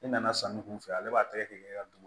E nana sanni kun fɛ ale b'a tɛgɛ de ka dun